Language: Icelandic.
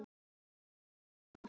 Þetta kunni mamma.